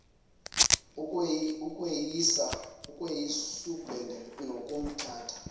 ukweyis ubudenge nokumatha